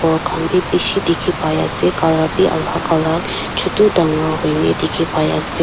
ghor khan bi bishi dikhipai ase color bi alak alak chutu dangor huine dikhi pai ase.